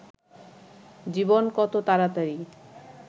জীবন কত তাড়াতাড়ি